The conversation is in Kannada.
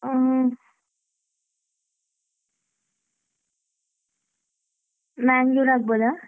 ಅಹ್ Mangalore ಆಗಬೋದ?